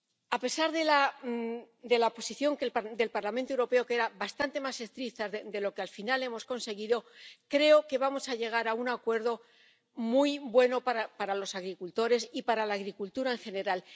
A pesar de que la posición del Parlamento Europeo era bastante más estricta de lo que al final hemos conseguido, creo que vamos a llegar a un acuerdo muy bueno para los agricultores y para la agricultura en general.